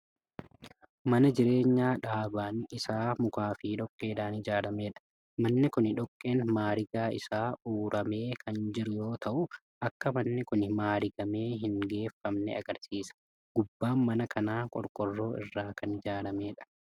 Mana jireenyaa dhaabaan Isaa mukaa fi dhoqqeedhaan ijaarameedha. manni Kuni dhoqqeen maarigaa Isaa u'uramee Kan jiru yoo ta'u Akka manni Kuni maarigamee hin geeffamne agarsiisa. gubbaan mana kanaa qorqoorroo irraa akan ijaaramedha.